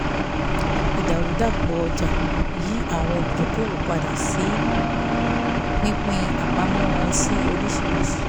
ìdàrúdàpọ̀ ọjà yí àwọn olùdókòwò padà sí pípín àpamọ́ wọn sí oríṣìíríṣìí